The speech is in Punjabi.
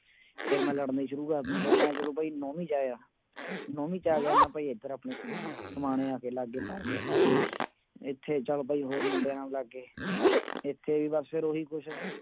ਫਿਰ ਮੈਂ ਲੜਨੇ ਸ਼ੁਰੂ ਕਰਨਾ, ਫਿਰ ਮੈਂ ਜਦੋਂ ਭਾਈ ਨੋਵੀਂ ਚ ਆਇਆ, ਨੋਵੀਂ ਚ ਆ ਗਿਆ ਮੈਂ ਭਾਈ ਇੱਧਰ ਆਪਣੇ ਸਮਾਨ ਸਮਾਣੇ ਆ ਕੇ ਲੱਗ ਗਏ ਪੜ੍ਹਨ ਇੱਥੇ ਚੱਲ ਭਾਈ ਹੋਰ ਮੁੰਡੇ ਆਉਣ ਲੱਗ ਗਏ, ਇੱਥੇ ਵੀ ਬਸ ਫਿਰ ਉਹੀ ਕੁਛ